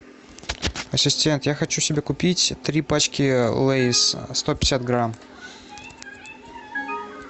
ассистент я хочу себе купить три пачки лейс сто пятьдесят грамм